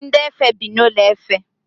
Ndi efe bi n’ụlọ efe